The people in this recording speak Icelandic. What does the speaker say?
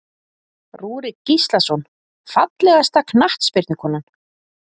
Rúrik Gíslason Fallegasta knattspyrnukonan?